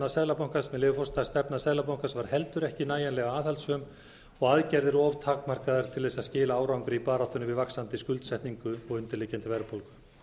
með leyfi forseta að stefna seðlabankans er heldur ekki nægjanlega aðhaldssöm og aðgerðir of takmarkaðar til að skila árangri í baráttunni við vaxandi skuldsetningu og undirliggjandi verðbólgu